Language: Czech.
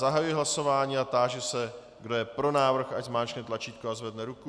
Zahajuji hlasování a táži se, kdo je pro návrh, ať zmáčkne tlačítko a zvedne ruku.